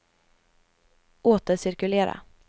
återcirkulera